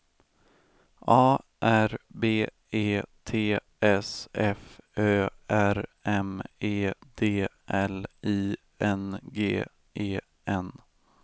A R B E T S F Ö R M E D L I N G E N